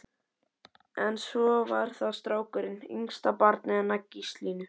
En svo var það strákurinn, yngsta barnið hennar Gíslínu.